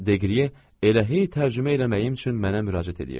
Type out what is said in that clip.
Deqliye elə hey tərcümə eləməyim üçün mənə müraciət eləyirdi.